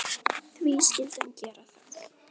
Og því skyldi hann gera það.